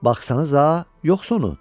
Baxsınızsa, yoxsunu?